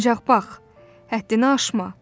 Ancaq bax, həddini aşma.